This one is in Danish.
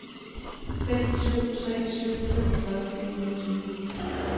fem syv tre syv femogfyrre fire hundrede og tyve